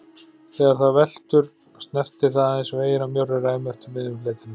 Þegar það veltur snertir það aðeins veginn á mjórri ræmu eftir miðjum fletinum.